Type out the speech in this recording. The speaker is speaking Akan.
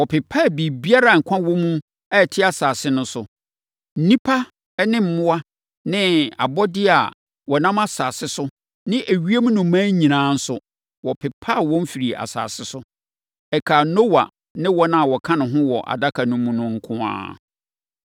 Wɔpepaa biribiara a nkwa wɔ mu a ɛte asase so no. Nnipa ne mmoa ne abɔdeɛ a wɔnam asase so ne ewiem nnomaa nyinaa nso, wɔpepaa wɔn firii asase so. Ɛkaa Noa ne wɔn a na wɔka ne ho wɔ adaka no mu nko ara.